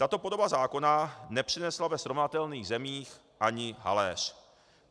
Tato podoba zákona nepřinesla ve srovnatelných zemích ani haléř.